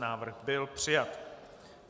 Návrh byl přijat.